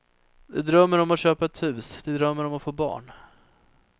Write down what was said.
De drömmer om att köpa ett hus, de drömmer om att få barn.